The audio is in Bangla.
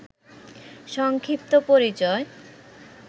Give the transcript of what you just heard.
সংক্ষিপ্ত পরিচয়